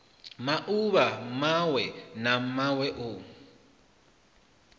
mauvha mawe na mawe o